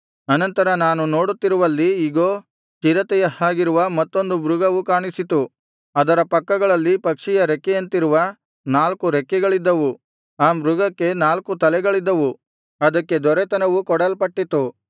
ಅನಂತರ ನಾನು ನೋಡುತ್ತಿರುವಲ್ಲಿ ಇಗೋ ಚಿರತೆಯ ಹಾಗಿರುವ ಮತ್ತೊಂದು ಮೃಗವು ಕಾಣಿಸಿತು ಅದರ ಪಕ್ಕಗಳಲ್ಲಿ ಪಕ್ಷಿಯ ರೆಕ್ಕೆಯಂತಿರುವ ನಾಲ್ಕು ರೆಕ್ಕೆಗಳಿದ್ದವು ಆ ಮೃಗಕ್ಕೆ ನಾಲ್ಕು ತಲೆಗಳಿದ್ದವು ಅದಕ್ಕೆ ದೊರೆತನವು ಕೊಡಲ್ಪಟ್ಟಿತು